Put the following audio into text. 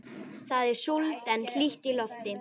Það er súld en hlýtt í lofti.